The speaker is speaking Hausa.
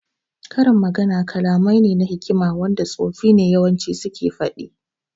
Karin magana kalamai ne na hikima wanda tsofi ne yawanci suke faɗi